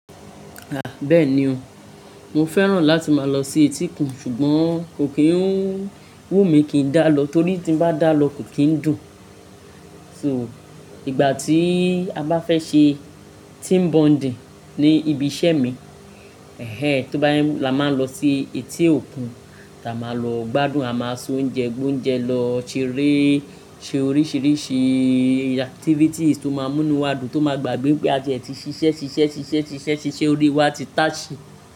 Ah! Bẹ́ẹ̀ni ò, mo fẹ́ràn láti máa lọ sí etíkun, ṣùgbọ́n kò kí ń wù mí kí n dá lọ torí tí n bá dá lọ kò kí ń dùn. Tí mo, ìgbà tí a bá fẹ́ ṣe team bonding ní ibi iṣẹ́ mi, ehhen, tó bá jẹ́ la máa ń lọ sí etí òkun, táa máa lọ gbádùn, a máa s'oúnjẹ, gbó oúnjẹ, lọ ṣeré, ṣe oríṣiríṣi i activities tó máa mú nú wa dùn, to ma gbàgbe wí pé a tiẹ̀ ti ṣiṣẹ́, ṣiṣẹ́, ṣiṣẹ́, ṣiṣẹ́, ṣiṣẹ́ orí wa ti táṣì.